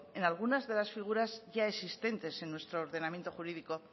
en algunas de las figuras ya existentes en nuestro ordenamiento jurídico